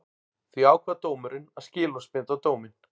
Því ákvað dómurinn að skilorðsbinda dóminn